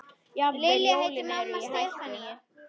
Jafnvel jólin eru í hættu.